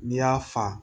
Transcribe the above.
N'i y'a fa